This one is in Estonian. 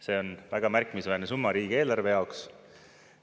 See on väga märkimisväärne summa riigieelarve jaoks.